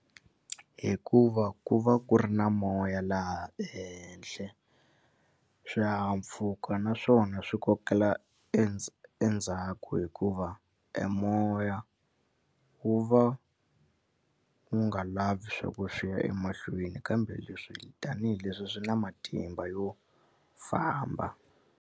Hikuva ku va ku ri na moya laha ehenhla swihahampfhuka naswona swi kokela endzhaku hikuva e moya wu va wu nga lavi swa ku swi ya emahlweni kambe leswi tanihileswi swi na matimba yo famba.